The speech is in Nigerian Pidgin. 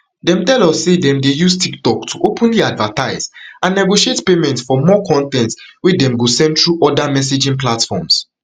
dem tell us say dem dey use tiktok to openly advertise and negotiate payment for more con ten t wey dem go send thru oda messaging platforms